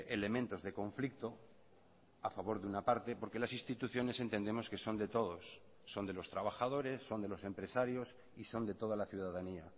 elementos de conflicto a favor de una parte porque las instituciones entendemos que son de todos son de los trabajadores son de los empresarios y son de toda la ciudadanía